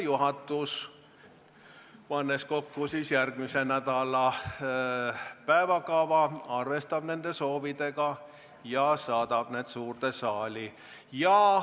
Juhatus, pannes kokku järgmise nädala päevakorda, arvestab nende soovidega ja saadab need eelnõud suurde saali.